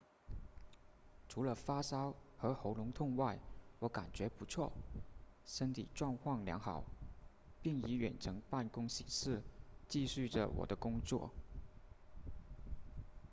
除了发烧和喉咙痛外我感觉不错身体状况良好并以远程办公形式继续着我的工作